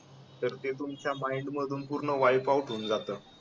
तर ते तुमच्या माईंड मधून पूर्ण वाइफ आऊट होऊन जातं